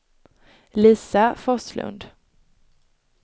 Lisa Forslund